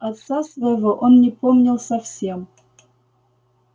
отца своего он не помнил совсем